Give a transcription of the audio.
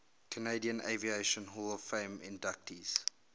canadian aviation hall of fame inductees